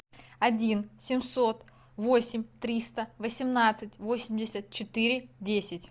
один семьсот восемь триста восемнадцать восемьдесят четыре десять